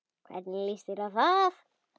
Hvernig líst þér á það?